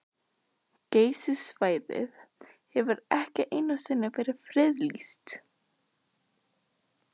Geysissvæðið hefur ekki einu sinni verið friðlýst.